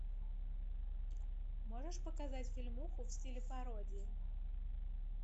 можешь показать фильмуху в стиле пародии